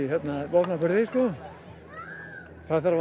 vopnaburði það þarf